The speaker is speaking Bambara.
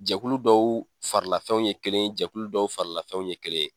Jɛkulu dɔw farilafɛnw ye kelen, jɛkulu dɔw farilafɛnw ye kelen.